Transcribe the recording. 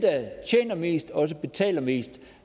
tjener mest også betaler mest